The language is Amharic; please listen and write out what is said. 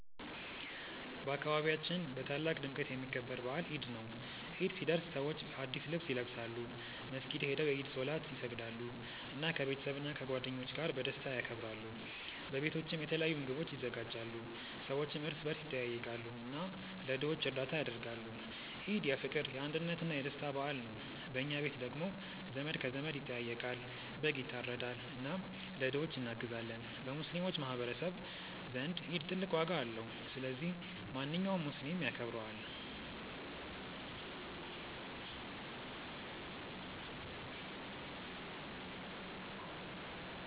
በአካባቢያችን በታላቅ ድምቀት የሚከበር በዓል ኢድ ነው። ኢድ ሲደርስ ሰዎች አዲስ ልብስ ይለብሳሉ፣ መስጊድ ሄደው የኢድ ሶላት ይሰግዳሉ፣ እና ከቤተሰብና ከጓደኞች ጋር በደስታ ያከብራሉ። በቤቶችም የተለያዩ ምግቦች ይዘጋጃሉ፣ ሰዎችም እርስ በርስ ይጠያየቃሉ እና ለድሆች እርዳታ ያደርጋሉ። ኢድ የፍቅር፣ የአንድነት እና የደስታ በዓል ነው። በኛ ቤት ደግሞ ዘመድ ከዘመድ ይጠያየቃል፣ በግ ይታረዳል እና ለድሆች እናግዛለን። በሙስሊሞች ማህቀረሰብ ዘንድ ኢድ ትልቅ ዋጋ አለው። ስለዚህ ማንኛውም ሙስሊም ያከብረዋል።